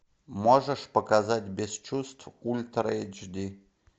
можешь показать без чувств ультра эйч ди